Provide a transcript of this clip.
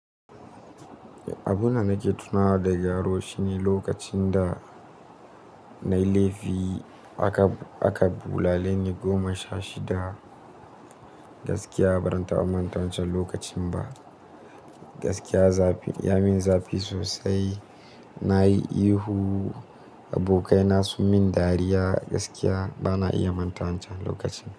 Abunda nake tunawa daga yaro shine lokacin da nayi laifi aka, aka bulale ni goma sha shida gaskiya ba zan manta wancan lokacin ba. Gaskiya zafi ya min zafi sosai, nayi ihu abokaina sun min dariya gaskiya bana iya manta wancan lokacin.